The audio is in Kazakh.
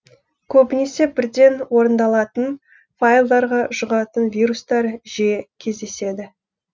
көбінесе бірден орындалатын файлдарға жүғатын вирустар жиі кездеседі